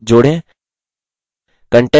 एक आयत जोड़ें